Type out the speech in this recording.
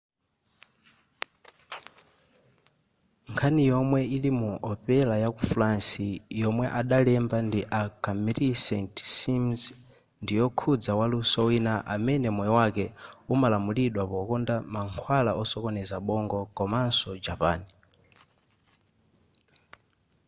nkhani yomwe ili mu opera yaku france yomwe adalemba ndi a camille saint-saens ndiyokhuza waluso wina amene moyo wake umalamulidwa pokonda mankhwala osokoneza bongo komaso japan